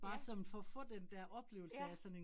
Ja. Ja